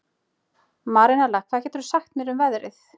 Marinella, hvað geturðu sagt mér um veðrið?